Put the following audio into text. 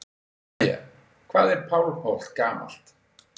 Freyja: Hvað er Pálmholt gamalt?